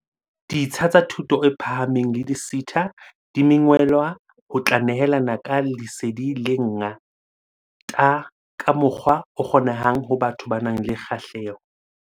Ditsha tsa thuto e phahameng le di-SETA di mengwelwa ho tla nehelana ka lesedi le nga-ta ka mokgwa o kgonehang ho batho ba nang le kgahleho.